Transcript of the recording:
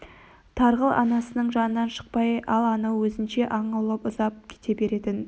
тарғыл анасының жанынан шықпай ал анау өзінше аң аулап ұзап кете беретін